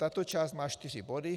Tato část má čtyři body.